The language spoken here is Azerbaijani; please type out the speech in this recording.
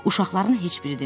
Uşaqların heç biri dinmirdi.